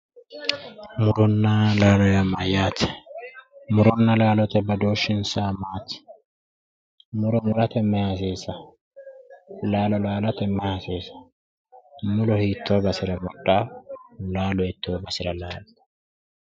muronna laalo yaa mayyaate? muronna laalo badooshshinsa maati? muro murate mayi hasiisa? laalo laalate mayi hasiisanno? muro hiittoo basera mudhanno laalo hiittoo basera laaltanoo?